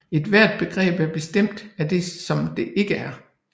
Ethvert begreb er bestemt af det som det ikke er